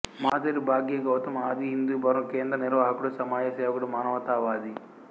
మాదరి భాగ్య గౌతమ్ ఆది హిందూ భవనం క్రేందం నిర్వాహకుడు సమాజ సేవకుడు మానవతావాది